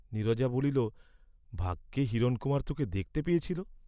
নীরজা বলিল ভাগ্যে হিরণকুমার তোকে দেখতে পেয়েছিল!